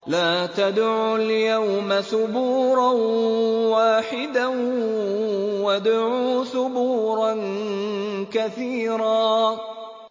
لَّا تَدْعُوا الْيَوْمَ ثُبُورًا وَاحِدًا وَادْعُوا ثُبُورًا كَثِيرًا